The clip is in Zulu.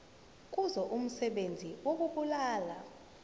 kuzo umsebenzi wokubulala